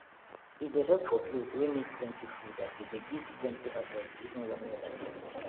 e dey help for place wey need plenty food as e dey give plenty harvest even when weather change